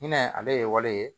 Ɲinɛ ale ye waleya ye